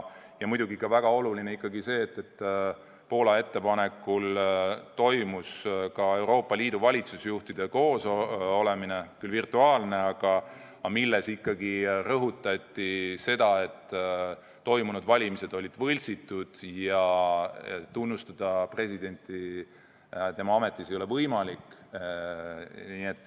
Ja muidugi on väga oluline ikkagi see, et Poola ettepanekul toimus Euroopa Liidu valitsusjuhtide nõupidamine – küll virtuaalne, aga seal rõhutati seda, et toimunud valimised olid võltsitud ja tunnustada presidenti tema ametis ei ole võimalik.